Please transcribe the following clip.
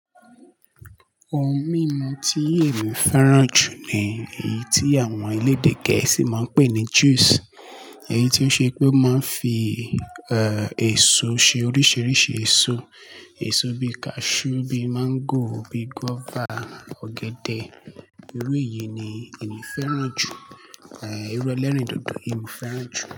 Ohun mímu tí èmi fẹ́ràn jù ni èyí tí àwọn elédè gẹ̀ẹ́sì máa ń pè ní juice. Èyí tí ó ṣe pé o máa ń fi, e, èso se oríṣiríṣi èso. Èso bí cashew, bí mango, bí guava, ọ̀gẹ̀dẹ̀. Irú èyí ni èmi fẹ́ràn jù. E, irú ẹlẹ́rìndòdò yii mo fẹ́ràn jù.